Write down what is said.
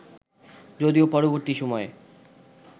যদিও পরবর্তী সময়ে